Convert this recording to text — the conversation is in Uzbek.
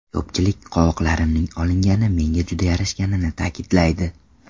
Ko‘pchilik qovoqlarimning olingani menga juda yarashganini ta’kidlaydi.